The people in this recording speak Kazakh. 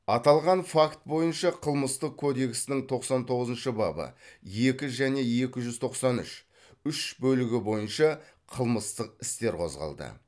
аталған факт бойынша қылмыстық кодексінің тоқсан тоғызыншы бабы екі және екі жүз тоқсан үш үш бөлігі бойынша қылмыстық істер қозғалды